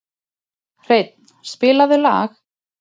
Hreinn, spilaðu lag.